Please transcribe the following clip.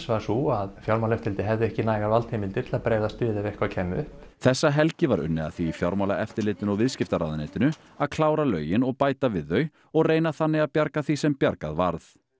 var sú að Fjármálaeftirlitið hefði ekki nægar valdheimildir til að bregðast við ef eitthvað kæmi upp þessa helgi var unnið að því í Fjármálaeftirlitinu og viðskiptaráðuneytinu að klára lögin og bæta við þau og reyna þannig að bjarga því sem bjargað varð